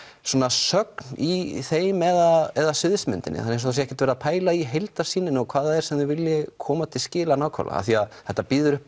sögn í þeim eða sviðsmyndinni það er eins og það hafi ekkert verið pælt í heildarmyndinni og hvað það er sem þeir vildu koma til skila nákvæmlega af því að þetta býður upp